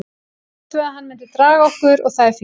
Ég bjóst við að hann myndi draga okkur og það er fínt.